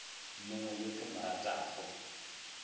mongwe yo ke mo ratago